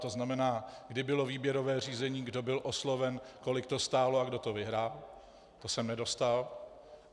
To znamená, kdy bylo výběrové řízení, kdo byl osloven, kolik to stálo a kdo to vyhrál, to jsem nedostal.